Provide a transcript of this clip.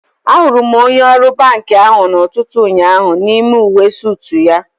Ahụrụ m onye ọrụ banki ahụ n'ụtụtụ ụnyaahụ n'ime uwe soot ya